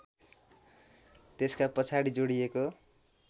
त्यसका पछाडि जोडिएको